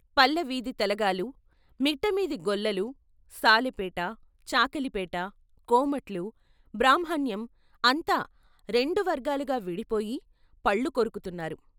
పల్ల వీధి తెలగాలు, మిట్ట వీధి గొల్లలు, సాలెపేట, చాకలిపేట, కోమట్లు, బ్రాహ్మణ్యం అంతా రెండు వర్గాలుగా విడిపోయి పళ్ళు కొరుకుతున్నారు.